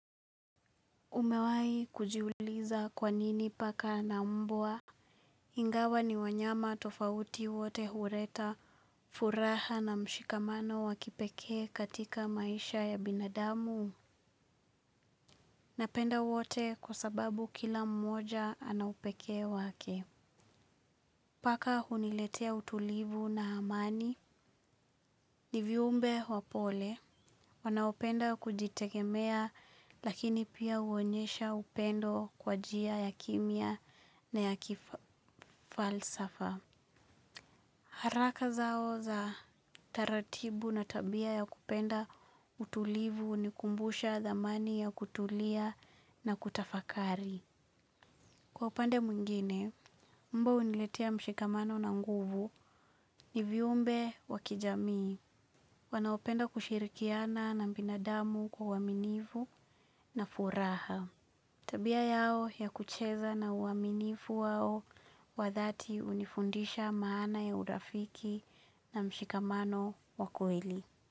Umewahi kujiuliza kwa nini paka na mbwa. Ingawa ni wanyama tofauti wote huleta furaha na mshikamano wa kipekee katika maisha ya binadamu? Napenda wote kwa sababu kila mmoja ana upekee wake. Paka huniletea utulivu na amani. Ni viumbe wapole, wanaopenda kujitegemea lakini pia huonyesha upendo kwa njia ya kimya na ya kifalsafa. Haraka zao za taratibu na tabia ya kupenda utulivu hunikumbusha thamani ya kutulia na kutafakari. Kwa upande mwingine, mbwa huniletea mshikamano na nguvu, ni viumbe wa kijamii. Wanaopenda kushirikiana na binadamu kwa uaminifu na furaha. Tabia yao ya kucheza na uaminifu wao wa dhati hunifundisha maana ya urafiki na mshikamano wa kweli.